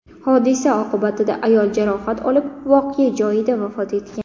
Hodisa oqibatida ayol jarohat olib, voqea joyida vafot etgan.